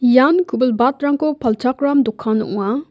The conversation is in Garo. ian ku·bilbatrangko palchakram dokan ong·a.